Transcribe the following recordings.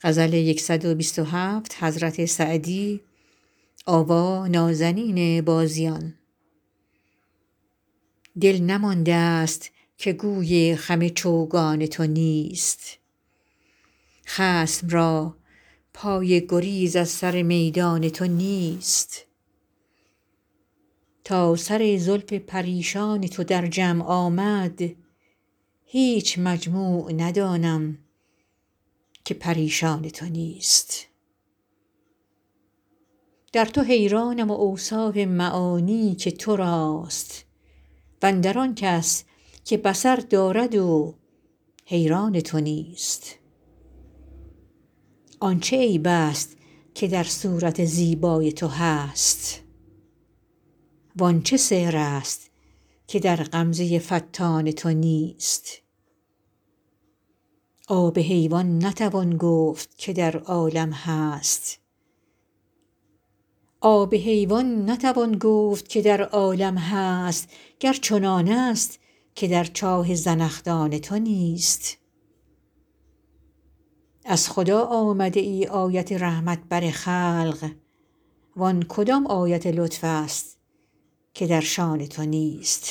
دل نمانده ست که گوی خم چوگان تو نیست خصم را پای گریز از سر میدان تو نیست تا سر زلف پریشان تو در جمع آمد هیچ مجموع ندانم که پریشان تو نیست در تو حیرانم و اوصاف معانی که تو راست و اندر آن کس که بصر دارد و حیران تو نیست آن چه عیب ست که در صورت زیبای تو هست وان چه سحر ست که در غمزه فتان تو نیست آب حیوان نتوان گفت که در عالم هست گر چنانست که در چاه زنخدان تو نیست از خدا آمده ای آیت رحمت بر خلق وان کدام آیت لطف ست که در شأن تو نیست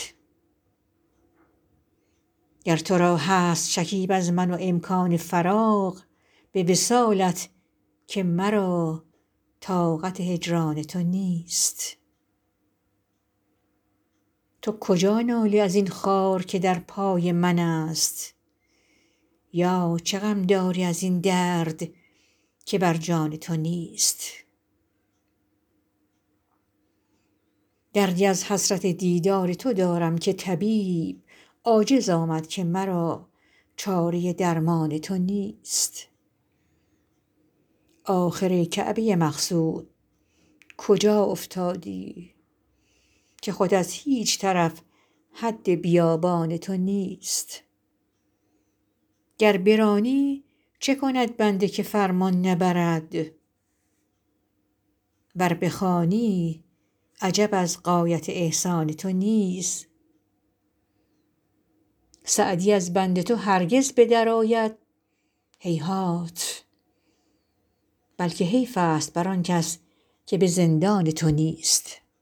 گر تو را هست شکیب از من و امکان فراغ به وصالت که مرا طاقت هجران تو نیست تو کجا نالی از این خار که در پای منست یا چه غم داری از این درد که بر جان تو نیست دردی از حسرت دیدار تو دارم که طبیب عاجز آمد که مرا چاره درمان تو نیست آخر ای کعبه مقصود کجا افتادی که خود از هیچ طرف حد بیابان تو نیست گر برانی چه کند بنده که فرمان نبرد ور بخوانی عجب از غایت احسان تو نیست سعدی از بند تو هرگز به درآید هیهات بلکه حیف ست بر آن کس که به زندان تو نیست